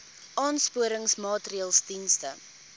aansporingsmaatre ls diens